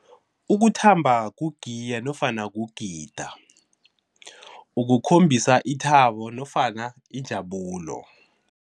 Ukuthamba kugiya nofana kugida, ukukhombisa ithabo nofana injabulo.